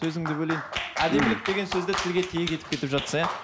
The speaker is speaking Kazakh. сөзіңді бөлейін әдемілік деген сөзді тілге тиек етіп кетіп жатсың иә